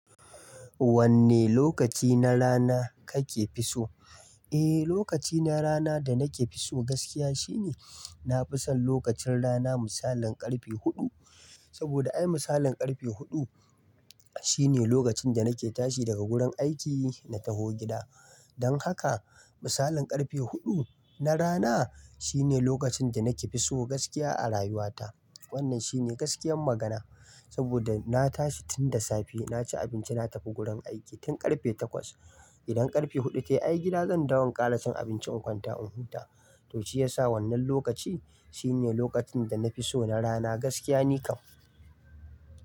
Wanne lokaci na rana kake fi so? Eh, lokaci na rana da nake fi so gaskiya shine, na fi son lokacin rana misalin karfe huɗu. Saboda ai misalin karfe huɗu shine lokacin da nake tashi daga gurin aiki na taho gida. Don haka, misalin karfe huɗu na rana shine lokacin da nake fi so gaskiya a rayuwata. Wannan shine gaskiyar magana saboda na tashi tun da safe, na ci abinci na tafi gurin aiki tun karfe takwas. Idan karfe huɗu ta yi ai gida zan dawo in ƙara cin abinci in kwanta in huta. To shi ya sa wannan lokaci shine lokacin da na fi so na rana gaskiya ni kam.